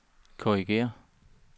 korrigér